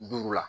Duuru la